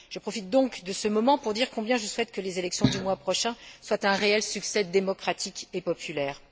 Je profite donc de ce moment pour dire combien je souhaite que les élections du mois prochain soient un réel succès démocratique et populaire.